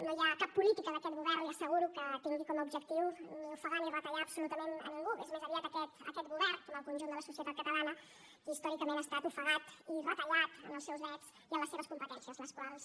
no hi ha cap política d’aquest govern li ho asseguro que tingui com a objectiu ni ofegar ni retallar absolutament a ningú és més aviat aquest govern com el conjunt de la societat catalana qui històricament ha estat ofegat i retallat en els seus drets i en les seves competències les quals